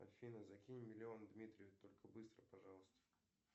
афина закинь миллион дмитрию только быстро пожалуйста